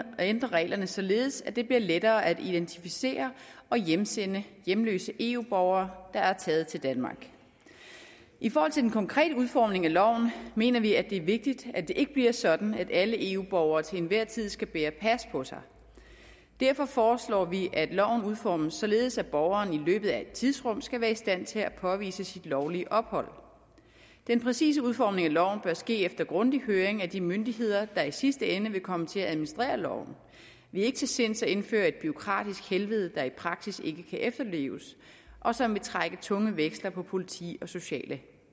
ændre reglerne således at det bliver lettere at identificere og hjemsende hjemløse eu borgere der er taget til danmark i forhold til den konkrete udformning af loven mener vi at det er vigtigt at det ikke bliver sådan at alle eu borgere til enhver tid skal bære pas på sig derfor foreslår vi at loven udformes således at borgeren i løbet af et tidsrum skal være i stand til at påvise sit lovlige ophold den præcise udformning af loven bør ske efter grundig høring af de myndigheder der i sidste ende vil komme til at administrere loven vi er ikke til sinds at indføre et bureaukratisk helvede der i praksis ikke kan efterleves og som vil trække tunge veksler på politi og sociale